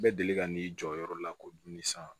Bɛ deli ka n'i jɔ yɔrɔ la ko dumuni san